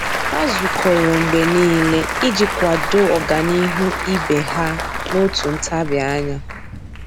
Há zùkọ́rọ́ mgbe nìile iji kwàdòọ́ ọ́gànihu ibe ha n’òtù ntabi anya.